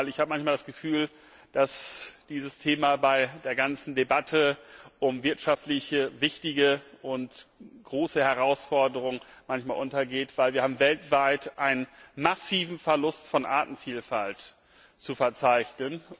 Ich habe manchmal das Gefühl, dass dieses Thema bei der ganzen Debatte um wirtschaftlich wichtige und große Herausforderungen manchmal untergeht, denn wir haben weltweit einen massiven Verlust von Artenvielfalt zu verzeichnen.